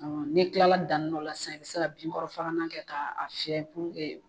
Ni tilala danyɔrɔ la sisan, i bɛ se ka binkɔrɔ fagalan kɛ k'a fiɲɛ purke